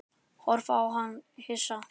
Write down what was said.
Horfði á hana hissa.